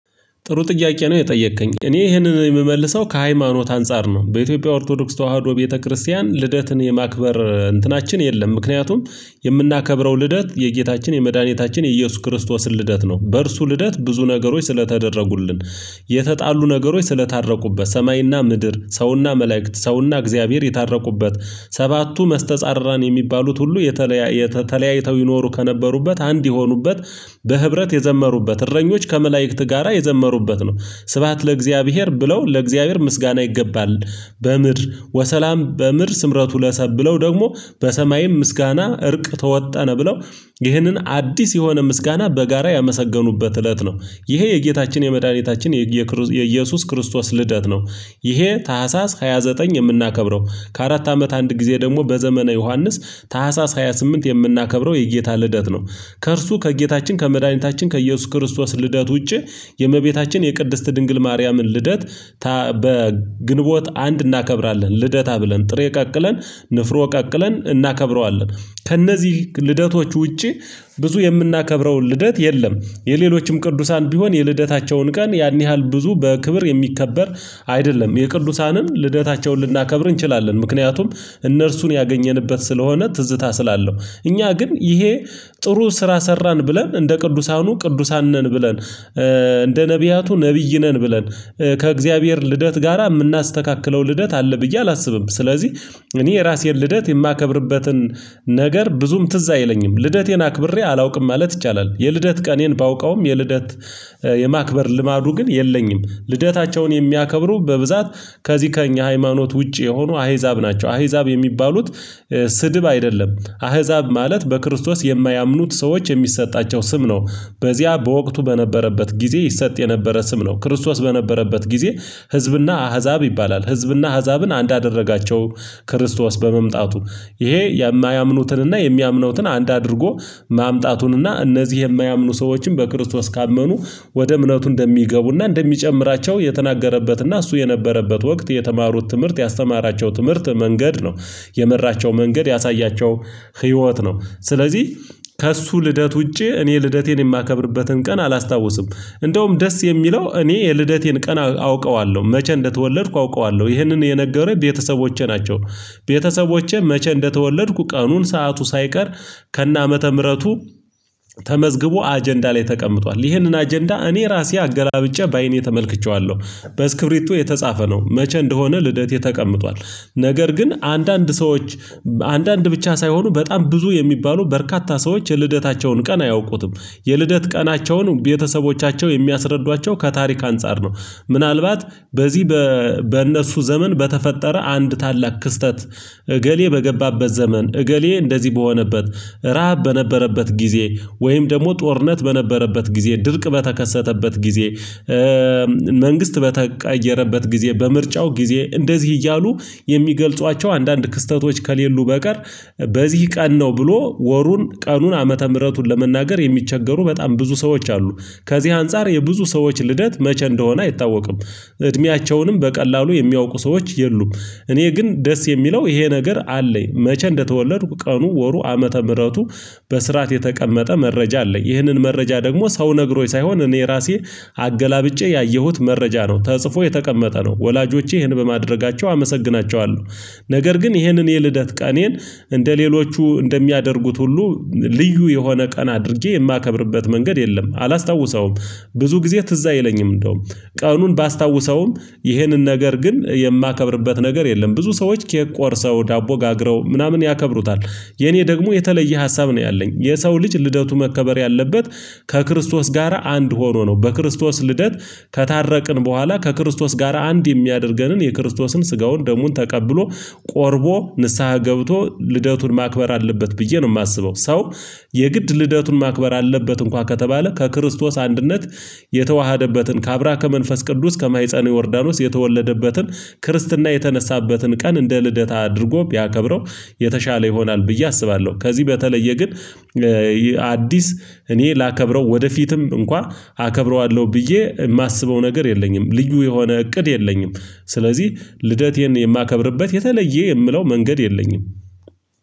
ጥሩ ጥያቄ ነው የጠየከኝ እኔ ይሄንን የምመልሰው ከሃይማኖት አንፃር ነው። በኢትዮጵያ ኦርቶዶክስ ተዋህዶ ቤተክርስቲያን ልደትን የማክበር እንትናችን የለም። ምክንያቱም የምናከብረው ልደት የጌታችን የመድኃኒታችን የኢየሱስ ክርስቶስን ልደት ነው። በእርሱ ልደት ብዙ ነገሮች ስለተደረጉልን የተጣሉ ነገሮች ስለታረቁበት ሰማይና ምድር ሰውና መላእክት ሰውና እግዚአብሔር የታረቁበት። ሰባቱ መስተጻርራን የሚባሉት ሁሉ የተለያየ ተለያይተው ይኖሩ ከነበሩበት አንድ የሆኑበት። በህብረት የዘመሩበት እረኞች ከመላእክት ጋራ የዘመሩበት ነው። ስብሃት ለእግዚአብሔር ብለው ለእግዚአብሔር ምስጋና ይገባል። በምድር ወሰላም በምድር ስምረቱ ለሰብ ብለው ደግሞ በሰማይም ምስጋና እርቅ ተወጣ ነው። ብለው ይህንን አዲስ የሆነ ምስጋና በጋራ ያመሰገኑበት እለት ነው። ይሄ የጌታችን የመድኃኒታችን የኢየሱስ ክርስቶስ ልደት ነው። ይሄ ታህሳስ ሃያ ዘጠኝ የምናከብረው ከአራት አመት አንድ ጊዜ ደግሞ በዘመነ ዮሐንስ ታህሳስ ሃያ ስምንት የምናከብረው የጌታ ልደት ነው። ከእርሱ ከጌታችን ከመድኃኒታችን ከኢየሱስ ክርስቶስ ልደት ውጪ የእመቤታችን የቅድስት ድንግል ማርያምን ልደት። በግንቦት አንድ እናከብራለን ልደታ ብለን ጥሬ ቀቅለን ንፍሮ ቀቅለን እናከብረዋለን። ከእነዚህ ልደቶች ውጪ ብዙ የምናከብረው ልደት የለም። የሌሎችም ቅዱሳን ቢሆን የልደታቸውን ቀን ያን ያህል ብዙ በክብር የሚከበር አይደለም። የቅዱሳንም ልደታቸውን ልናከብር እንችላለን ምክንያቱም እነርሱን ያገኘንበት ስለሆነ ትዝታ ስላለው። እኛ ግን ይሄ ጥሩ ስራ ሰራን ብለን እንደ ቅዱሳኑ ቅዱሳን ነን ብለን እንደ ነብያቱ ነብይ ነን ብለን ከእግዚአብሔር ልደት ጋራ የምናስተካክለው ልደት አለ። ብዬ አላስብም። ስለዚህ እኔ የራሴን ልደት የማከብርበትን ነገር ብዙም ትዝ አይለኝም ልደቴን አክብሬ አላውቅም ማለት ይቻላል። የልደት ቀኔን ባውቀውም የልደት የማክበር ልማዱ ግን የለኝም። ልደታቸውን የሚያከብሩ በብዛት ከዚህ ከእኛ ሃይማኖት ውጪ የሆኑ አህዛብ ናቸው። አህዛብ የሚባሉት ስድብ አይደለም። አህዛብ ማለት በክርስቶስ የማያምኑት ሰዎች የሚሰጣቸው ስም ነው። በዚያ በወቅቱ በነበረበት ጊዜ ይሰጥ የነበረ ስም ነው። ክርስቶስ በነበረበት ጊዜ ህዝብና አህዛብ ይባላል ህዝብና አህዛብን አንድ አደረጋቸው። ክርስቶስ በመምጣቱ ይሄ የማያምኑትንና የሚያምኑትን አንድ አድርጎ ማምጣቱንና እነዚህ የማያምኑ ሰዎችን በክርስቶስ ካመኑ ወደ እምነቱ እንደሚገቡና እንደሚጨምራቸው የተናገረበትና እሱ የነበረበት ወቅት የተማሩት ትምህርት ያስተማራቸው ትምህርት መንገድ ነው። የመራቸው መንገድ ያሳያቸው ህይወት ነው። ስለዚህ ከእሱ ልደት ውጪ እኔ ልደቴን የማከብርበትን ቀን አላስታውስም። እንደውም ደስ የሚለው እኔ የልደቴን ቀና አውቀዋለሁ መቼ እንደተወለድኩ አውቀዋለሁ ይህንን የነገረኝ ቤተሰቦቼ ናቸው። ቤተሰቦቼ መቼ እንደተወለድኩ ቀኑን ሰዓቱ ሳይቀር ከነአመተ ምህረቱ ተመዝግቦ አጀንዳ ላይ ተቀምጧል ይህንን አጀንዳ እኔ ራሴ አገላብጬ በአይኔ ተመልክቼዋለሁ። በስክብሪቶ የተጻፈ ነው መቼ እንደሆነ ልደቴ ተቀምጧል። ነገር ግን አንዳንድ ሰዎች አንዳንድ ብቻ ሳይሆኑ በጣም ብዙ የሚባሉ በርካታ ሰዎች የልደታቸውን ቀን አያውቁትም። የልደት ቀናቸውን ቤተሰቦቻቸው የሚያስረዷቸው ከታሪክ አንፃር ነው። ምናልባት በዚህ በእነሱ ዘመን በተፈጠረ አንድ ታላቅ ክስተት እገሌ በገባበት ዘመን እገሌ እንደዚህ በሆነበት ረሃብ በነበረበት ጊዜ ወይም ደግሞ ጦርነት በነበረበት ጊዜ ድርቅ በተከሰተበት ጊዜ። መንግስት በተቀየረበት ጊዜ በምርጫው ጊዜ እንደዚህ እያሉ የሚገልጿቸው አንዳንድ ክስተቶች ከሌሉ በቀር በዚህ ቀን ነው ብሎ ወሩን ቀኑን ዓመተ ምህረቱን ለመናገር የሚቸገሩ በጣም ብዙ ሰዎች አሉ። ከዚህ አንፃር የብዙ ሰዎች ልደት መቼ እንደሆነ አይታወቅም። እድሜያቸውንም በቀላሉ የሚያውቁ ሰዎች የሉም። እኔ ግን ደስ የሚለው ይሄ ነገር አለኝ መቼ እንደተወለድኩ ቀኑ ወሩ ዓመተ ምህረቱ በስርዓት የተቀመጠ መረጃ አለኝ። ይህንን መረጃ ደግሞ ሰው ነግሮኝ ሳይሆን እኔ ራሴ አገላብጬ ያየሁት መረጃ ነው ተጽፎ የተቀመጠ ነው ወላጆቼ ይህን በማድረጋቸው አመሰግናቸዋለሁ። ነገር ግን ይሄንን የልደት ቀኔን እንደሌሎቹ እንደሚያደርጉት ሁሉ ልዩ የሆነ ቀን አድርጌ የማከብርበት መንገድ የለም አላስታውሰውም። ብዙ ጊዜ ትዝ አይለኝም እንደውም ቀኑን ባስታውሰውም ይህንን ነገር ግን የማከብርበት ነገር የለም ብዙ ሰዎች ኬክ ቆርሰው ዳቦ ጋግረው ምናምን ያከብሩታል። የኔ ደግሞ የተለየ ሀሳብ ነው ያለኝ የሰው ልጅ ልደቱ መከበር ያለበት ከክርስቶስ ጋራ አንድ ሆኖ ነው። በክርስቶስ ልደት ከታረቅን በኋላ ከክርስቶስ ጋራ አንድ የሚያደርገንን የክርስቶስን ስጋውን ደሙን ተቀብሎ ቆርቦ ንስሃ ገብቶ ልደቱን ማክበር አለበት ብዬ ነው የማስበው። ሰው የግድ ልደቱን ማክበር አለበት። እንኳን ከተባለ ከክርስቶስ አንድነት የተዋሀደበትን ከአብራከ መንፈስ ቅዱስ ከማህፀነ ዮርዳኖስ የተወለደበትን ክርስትና የተነሳበትን ቀን እንደ ልደት አድርጎ ቢያከብረው የተሻለ ይሆናል ብዬ አስባለሁ። ከዚህ በተለየ ግን አዲስ እኔ ላከብረው ወደፊትም እንኳን አከብረዋለሁ ብዬ የማስበው ነገር የለኝም ልዩ የሆነ እቅድ የለኝም። ስለዚህ ልደቴን የማከብርበት የተለየ የምለው መንገድ የለኝም።